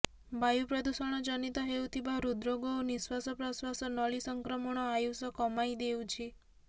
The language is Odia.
ବାୟୁ ପ୍ରଦୂଷଣ ଜନିତ ହେଉଥିବା ହୃଦ୍ରୋଗ ଓ ନିଃଶ୍ବାସ ପ୍ରଶ୍ବାସ ନଳୀ ସଂକ୍ରମଣ ଆୟୂଷ କମାଇ ଦେଉଛି